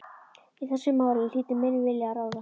Í þessu máli hlýtur minn vilji að ráða.